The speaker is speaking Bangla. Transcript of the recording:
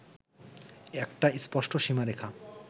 একটা স্পষ্ট সীমারেখা